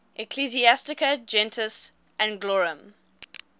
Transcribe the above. ecclesiastica gentis anglorum